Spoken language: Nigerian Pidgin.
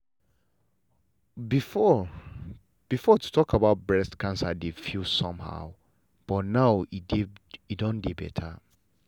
before before to talk about breast cancer dey feel somehow but now e don better.